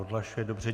Odhlašuje se.